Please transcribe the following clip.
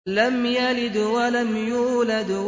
لَمْ يَلِدْ وَلَمْ يُولَدْ